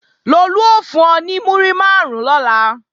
Lolú ó fún ọ ní múrí máàrún lọ́la